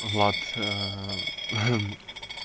влад